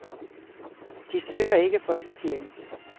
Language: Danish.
De søger ikke i folkekirken.